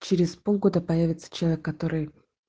через полгода появится человек который